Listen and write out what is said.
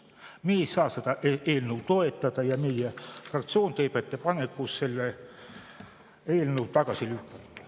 Meie ei saa seda eelnõu toetada ja meie fraktsioon teeb ettepaneku see eelnõu tagasi lükata.